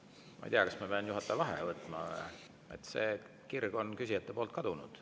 Ma ei tea, kas ma pean juhataja vaheaja võtma, küsijate kirg on kadunud.